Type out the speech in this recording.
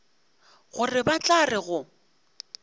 gore ba tla re go